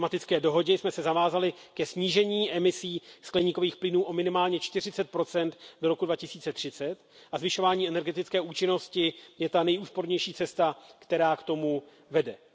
V klimatické dohodě jsme se zavázali ke snížení emisí skleníkových plynů o minimálně 40 do roku 2030 a zvyšování energetické účinnosti je ta nejúspornější cesta, která k tomu vede.